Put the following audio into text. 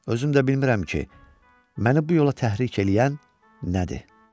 Özüm də bilmirəm ki, məni bu yola təhrik eləyən nədir.